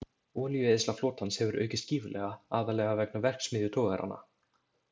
Olíueyðsla flotans hefur aukist gífurlega, aðallega vegna verksmiðjutogaranna.